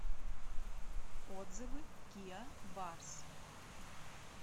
отзывы киа барс